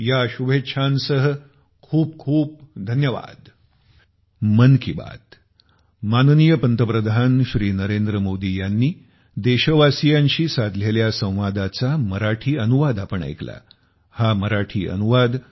या शुभेच्छांसह खूपखूप धन्यवाद